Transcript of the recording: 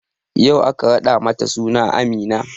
Yau aka raɗa mata suna Amina